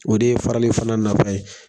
O de ye farali fana nafa ye.